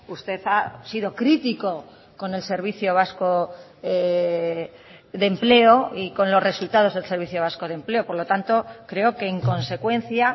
usted ha sido crítico con el servicio vasco de empleo y con los resultados del servicio vasco de empleo por lo tanto creo que en consecuencia